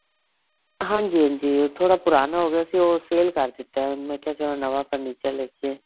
ਹਾਂਜੀ ਹਾਂਜੀ ਥੋੜਾ ਪੁਰਾਣਾ ਹੋ ਗਿਆ ਸੀ ਉਹ sale ਕਰ ਦਿਤਾ ਮੈਂ ਕਿਹਾ ਚੱਲੋ ਨਵਾਂ furniture ਲੇਕੇ